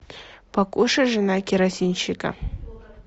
покушай жена керосинщика